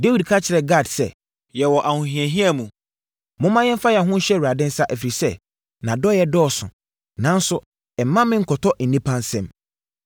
Dawid ka kyerɛɛ Gad sɛ, “Yɛwɔ ahohiahia mu. Momma yɛmfa yɛn ho nhyɛ Awurade nsa, ɛfiri sɛ, nʼadɔeɛ dɔɔso; nanso, mma me nkɔtɔ nnipa nsam.”